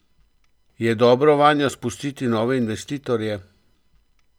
Je dobro vanjo spustiti nove investitorje?